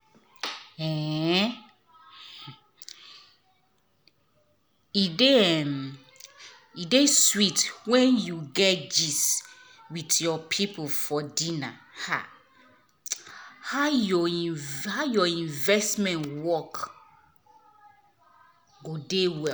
um e dey um e dey sweet when you dey gist with your people for dinner um how your how your investment work go dey well.